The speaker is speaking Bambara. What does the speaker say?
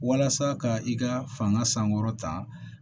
Walasa ka i ka fanga sankɔrɔ ta